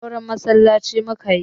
Auren musulunci mukayi